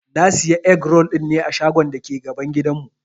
Na Siya egg-roll dinne a shagon dake gaban gidan mu.